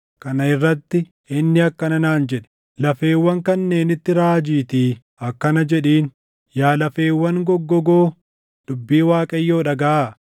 Kana irratti inni akkana naan jedhe; “Lafeewwan kanneenitti raajiitii akkana jedhiin; ‘Yaa lafeewwan goggogoo, dubbii Waaqayyoo dhagaʼaa!